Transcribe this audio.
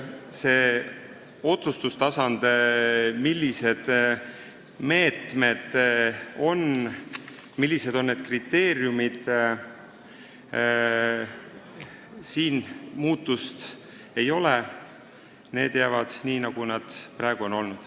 Sellel otsustustasandil, millised on meetmed ja nende kriteeriumid, muutust ei ole – need jäävad nii, nagu need on seni olnud.